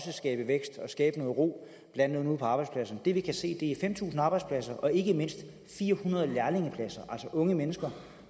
skabe vækst og skabe noget ro ude på arbejdspladserne det vi kan se er fem tusind arbejdspladser og ikke mindst fire hundrede lærlingepladser altså unge mennesker